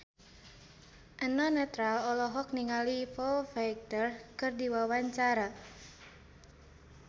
Eno Netral olohok ningali Foo Fighter keur diwawancara